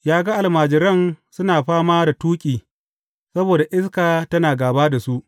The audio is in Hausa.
Ya ga almajiran suna fama da tuƙi saboda iska tana gāba da su.